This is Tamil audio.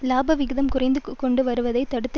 இலாப விகிதம் குறைந்து கொண்டு வருவதை தடுத்து